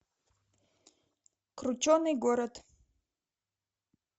крученый город